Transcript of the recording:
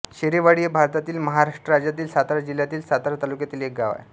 शेरेवाडी हे भारतातील महाराष्ट्र राज्यातील सातारा जिल्ह्यातील सातारा तालुक्यातील एक गाव आहे